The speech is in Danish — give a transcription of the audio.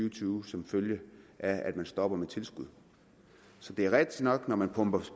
og tyve som en følge af at man stopper med tilskud så det er rigtigt nok at når man pumper